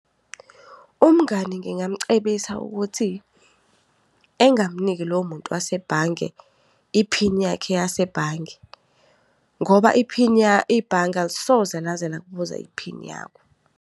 Umngani ngingamcebisa ukuthi, engamniki lowo muntu wasebhange iphini yakhe yasebhange ngoba iphini ibhange alisoze laze lakubuza iphini yakho.